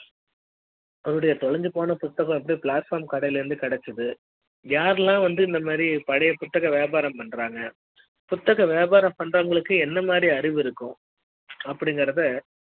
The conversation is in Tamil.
அவருடைய தொலைந்து போனபுத்தகம் பிளாட் பாம் கடையில் இருந்து கிடைக்குது யாரெல்லாம் வந்து இந்த மாதிரி பழைய புத்தக வியாபாரம் பண்றாங்க புத்தக வியாபாரம் பண்ற வங்களுக்கு என்ன மாதிரி அறிவு இருக்கும் அப்டி ங்கறத